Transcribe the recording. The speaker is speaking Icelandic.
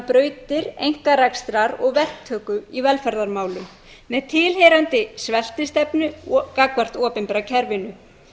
brautir einkarekstrar og verktöku í velferðarmálum með tilheyrandi sveltistefnu gagnvart opinbera kerfinu